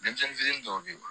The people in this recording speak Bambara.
Denmisɛnnin fitinin dɔw be yen